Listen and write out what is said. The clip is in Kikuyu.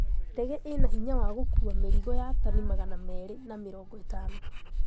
Ndege ĩno mbinya wa gũkuuwa mirigo ya tani magana meri na mĩrongo ĩtano